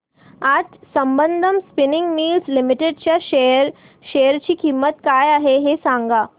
आज Sambandam spinning mills limited च्या share ची किंमत काय आहे हे सांगा